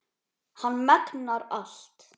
Hann megnar allt.